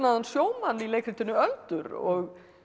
sjómann í leikritinu öldur og